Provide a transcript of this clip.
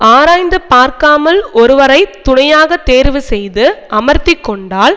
ஆராய்ந்து பார்க்காமல் ஒருவரை துணையாக தேர்வு செய்து அமர்த்தி கொண்டால்